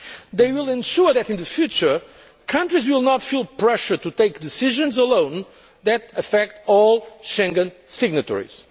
system. They will ensure that, in the future, countries will not feel pressured to take decisions alone that affect all Schengen signatories.